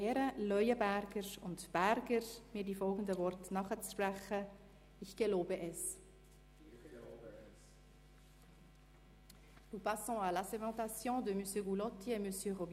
Herr Stefan Berger folgt auf Frau Elisabeth Zäch, M. Hervé Gullotti succède à M.